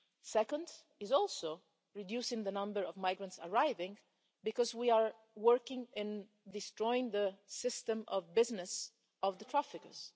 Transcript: Second is also reducing the number of migrants arriving, because we are working in destroying the system of business of the traffickers.